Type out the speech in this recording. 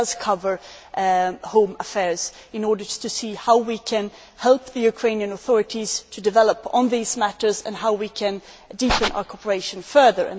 It does cover home affairs in order to see how we can help the Ukrainian authorities to develop on these matters and how we can deepen our cooperation further.